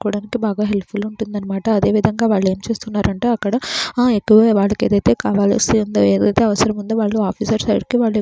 చేసుకోవడానికి బాగా helpful ఉంటుందంట అదేవిధంగా వాళ్ళు ఏం చేస్తున్నారు అంటే అక్కడ ఎక్కువగా వాళ్లకైతే కావాలి ఉందో ఏదైతే అవసరం ఉంది వాళ్ళు ఆఫీసర్ సైడ్ కి వాళ్ళూ --